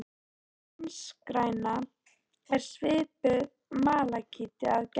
Spanskgræna er svipuð malakíti að gerð.